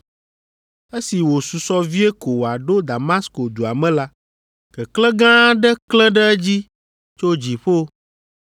Esi wòsusɔ vie ko wòaɖo Damasko dua me la, keklẽ gã aɖe klẽ ɖe edzi tso dziƒo.